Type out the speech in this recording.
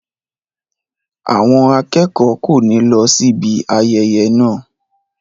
Àwọn akẹ́kọ̀ọ́ kò ní lọ síbi ayẹyẹ náà.